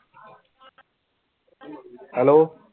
Hello